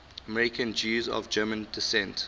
american jews of german descent